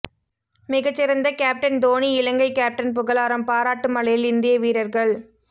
மிகச்சிறந்த captain Dhoni Ilangai captain புகழாரம் பாராட்டு மழையில் இந்திய வீரர்கள்